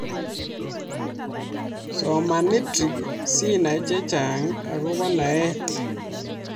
Soman nidcrs sinai chechang akopa naet